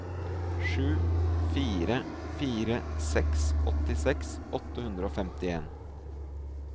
sju fire fire seks åttiseks åtte hundre og femtien